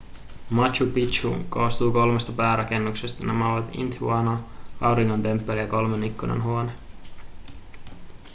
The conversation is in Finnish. machu picchu koostuu kolmesta päärakennuksesta nämä ovat intihuatana auringon temppeli ja kolmen ikkunan huone